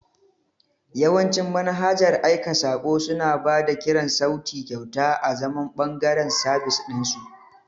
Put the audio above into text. Yawancin manhajar aika saƙo suna ba da kiran sauti kyauta azaman ɓangaren sabis ɗin su.